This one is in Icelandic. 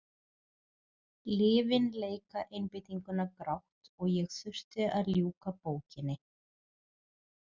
Lyfin leika einbeitinguna grátt og ég þurfti að ljúka bókinni.